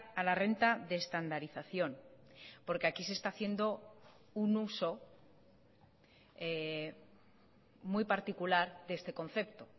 a la renta de estandarización porque aquí se está haciendo un uso muy particular de este concepto